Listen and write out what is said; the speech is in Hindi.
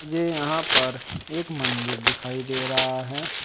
मुझे यहां पर एक मंदिर दिखाई दे रहा है।